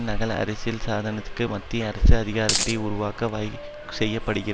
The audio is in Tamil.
நகல் அரசியல் சாசனத்தில் மத்திய அரசு அதிகாரத்தை உருவாக்க வகை செய்யப்பட்டிருக்கிற